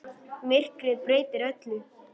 Myrkrið breytir öllu.